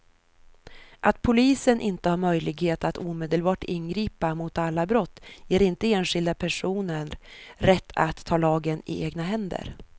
Att polisen inte har möjlighet att omedelbart ingripa mot alla brott ger inte enskilda personer rätt att ta lagen i egna händer.